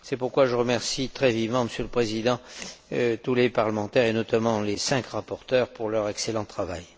C'est pourquoi je remercie très vivement, Monsieur le Président, tous les parlementaires et notamment les cinq rapporteurs pour leur excellent travail.